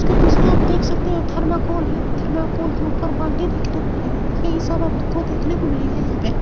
इसके पीछे आप देख सकते हैं थर्माकोल है। थर्माकोल के ऊपर बाल्टी देखने को मिलेगी ये ही सब आपको देखने को मिलेगा यहां पे।